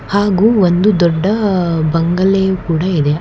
ಹಾಗು ಒಂದು ದೊಡ್ಡ ಬಂಗಲ್ಲೇಯು ಕೂಡ ಇದೆ.